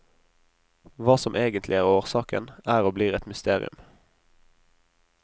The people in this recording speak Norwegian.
Hva som egentlig er årsaken, er og blir et mysterium.